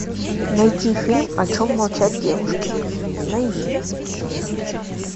найти фильм о чем молчат девушки найди